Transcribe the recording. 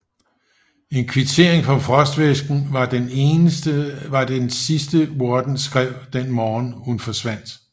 En kvittering for frostvæsken var den sidste Worden skrev den morgen hun forsvandt